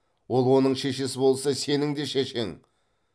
ол оның шешесі болса сенің де шешең